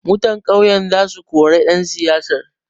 Mutan ƙauyan za su kore ɗan siyasar.